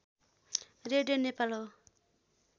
radio Nepal हो